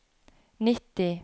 nitti